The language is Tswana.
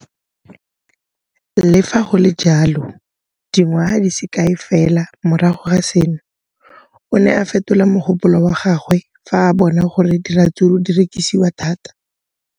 Le fa go le jalo, dingwaga di se kae fela morago ga seno, o ne a fetola mogopolo wa gagwe fa a bona gore diratsuru di rekisiwa thata.